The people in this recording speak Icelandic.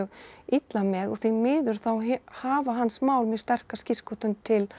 illa með og því miður þá hafa hans mál mjög sterka skírskotun til